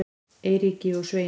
Eiríki og Sveini